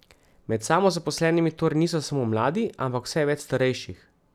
Med samozaposlenimi torej niso samo mladi, ampak vse več starejših.